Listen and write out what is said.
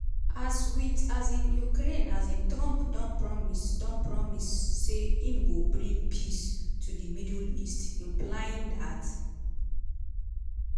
as wit um ukraine um trump don promise don promise say im go bring “peace” to di middle east - implying dat